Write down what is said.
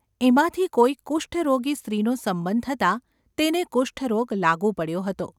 એમાંથી કોઈ કુષ્ઠ રોગી સ્ત્રીનો સંબંધ થતાં તેને કુષ્ઠરોગ લાગુ પડ્યો હતો.